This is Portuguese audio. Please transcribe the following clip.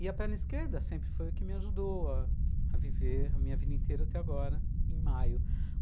E a perna esquerda sempre foi o que me ajudou a viver a minha vida inteira até agora, em maio.